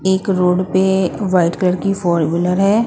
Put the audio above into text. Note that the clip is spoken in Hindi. एक रोड पे व्हाइट कलर कि फोर व्हीलर है।